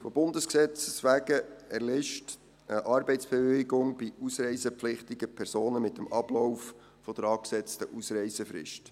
Von Bundesgesetzes wegen erlischt eine Arbeitsbewilligung bei ausreisepflichtigen Personen mit dem Ablauf der angesetzten Ausreisefrist.